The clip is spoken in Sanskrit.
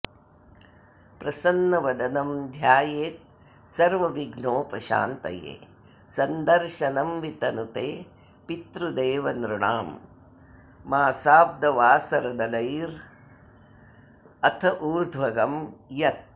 प्रसन्नवदनं ध्यायेत्सर्वविघ्नोपशान्तये सन्दर्शनं वितनुते पितृदेवनॄणां मासाब्दवासरदलैरथ उर्ध्वगं यत्